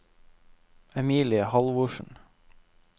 Emilie Halvorsen